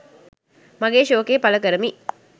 මගේ ශෝකය පළ කරමි